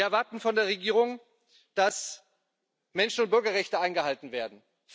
Wir erwarten von der Regierung, dass Menschen und Bürgerrechte eingehalten werden